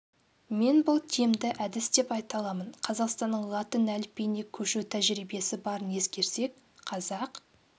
мен бұл тиімді әдіс деп айта аламын қазақстанның латын әліпбиіне көшу тәжірибесі барын ескерсек қазақ